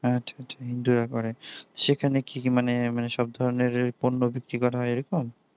আচ্ছা আচ্ছা হিন্দুরা করে সেখানে কি মানে মানে সব ধরণের পণ্য বিক্রি হয় এরকম